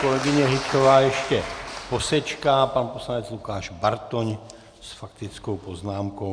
Kolegyně Hyťhová ještě posečká, pan poslanec Lukáš Bartoň s faktickou poznámkou.